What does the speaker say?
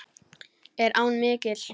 Er áin mikil?